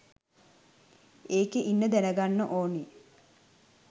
ඒකේ ඉන්න දැනගන්න ඕන